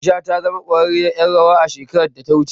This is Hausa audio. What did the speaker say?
Aisha ta zama ƙwararriyar ƴar rawa shekarar da ta wuce.